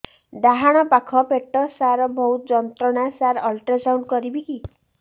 ଡାହାଣ ପାଖ ପେଟ ସାର ବହୁତ ଯନ୍ତ୍ରଣା ସାର ଅଲଟ୍ରାସାଉଣ୍ଡ କରିବି କି